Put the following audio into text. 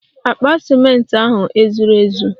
Akpa ciment ahu ezuru ezu?